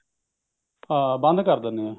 ਹਾਂ ਬੰਦ ਕਰ ਦਿੰਦੀ ਹੈ